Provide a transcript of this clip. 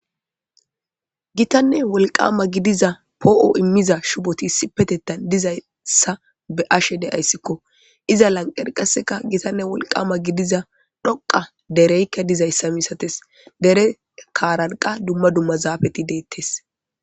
Gitanne wolqama gidiza poo'o immiza shuboti sipetettan dizayssa be ashe de ayssikko iza lanqerqaseka gitanne wolqama gidiza dhoqa dereykka dizayssa misates dere kaaranqa dumma dumma zaafeti deettes.